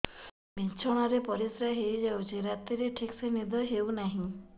ବିଛଣା ରେ ପରିଶ୍ରା ହେଇ ଯାଉଛି ରାତିରେ ଠିକ ସେ ନିଦ ହେଉନାହିଁ